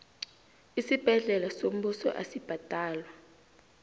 isibhedlela sombuso asibhadalwa